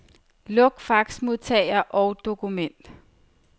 Luk faxmodtager og dokument.